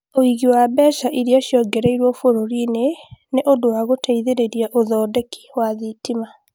ũingĩ wa mbeca iria ciongereirũo bũrũri-inĩ nĩ ũndũ wa gũteithĩrĩria ũthondeki wa thitima